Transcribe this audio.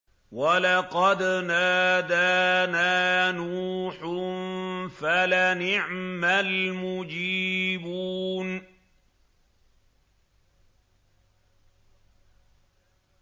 وَلَقَدْ نَادَانَا نُوحٌ فَلَنِعْمَ الْمُجِيبُونَ